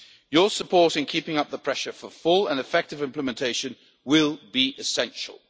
Your support in keeping up the pressure for full and effective implementation will be essential.